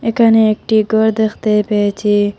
এখানে একটি ঘর দেখতে পেয়েছি।